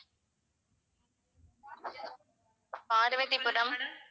Parvathipuram